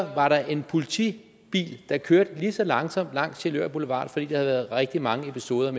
var der en politibil der kørte lige så langsomt langs sjælør boulevard fordi været rigtig mange episoder